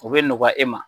O bɛ nɔgɔya e ma